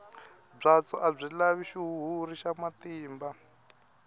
byatso a byi lavi xihuhuri xa matimba